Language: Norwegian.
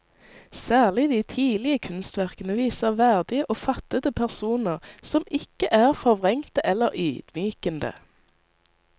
Særlig de tidlige kunstverkene viser verdige og fattede personer, som ikke er forvrengte eller ydmykende.